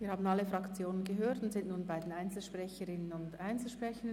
Wir haben alle Fraktionen gehört und kommen nun zu den Einzelsprecherinnen und Einzelsprechern.